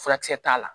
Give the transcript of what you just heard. Furakisɛ t'a la